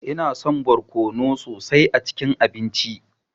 Ina son barkono sosai a cikin abinci.